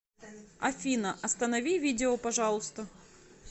афина останови видео пожалуйста